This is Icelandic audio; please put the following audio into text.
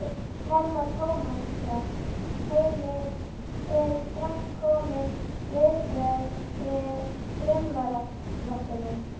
Telma Tómasson: Heimir, eru strax komin viðbrögð við frumvarpinu?